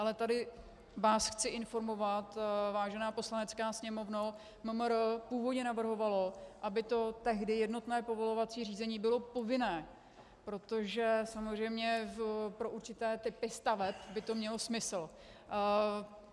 Ale tady vás chci informovat, vážená Poslanecká sněmovno, MMR původně navrhovalo, aby to tehdy jednotné povolovací řízení bylo povinné, protože samozřejmě pro určité typy staveb by to mělo smysl.